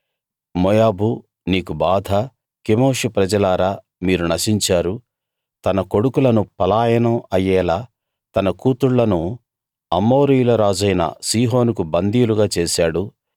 మోయాబూ నీకు బాధ కెమోషు ప్రజలారా మీరు నశించారు తన కొడుకులను పలాయనం అయ్యేలా తన కూతుళ్ళను అమోరీయులరాజైన సీహోనుకు బందీలుగా చేశాడు